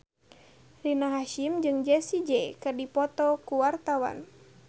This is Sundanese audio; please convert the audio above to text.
Rina Hasyim jeung Jessie J keur dipoto ku wartawan